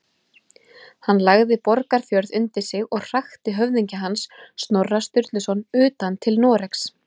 Hann lagði Borgarfjörð undir sig og hrakti höfðingja hans, Snorra Sturluson, utan til Noregs.